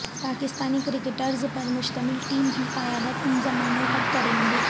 Pakistani cricketers پر مشتمل team کی قیادت انضمام الحق کریں گے